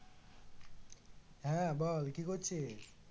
হ্যাঁ বল কি করছিস?